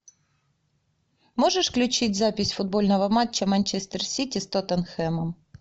можешь включить запись футбольного матча манчестер сити с тоттенхэмом